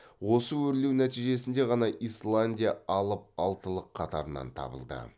осы өрлеу нәтижесінде ғана исландия алып алтылық қатарынан табылды